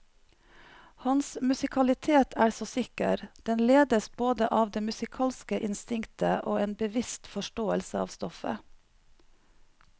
Hans musikalitet er så sikker, den ledes både av det musikalske instinktet og en bevisst forståelse av stoffet.